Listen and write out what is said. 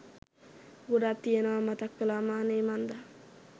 ගොඩක් තියෙනවා මතක් කලාම අනේ මන්ද.